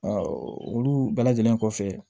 olu bɛɛ lajɛlen kɔfɛ